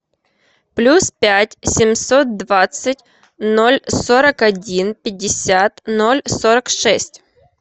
плюс пять семьсот двадцать ноль сорок один пятьдесят ноль сорок шесть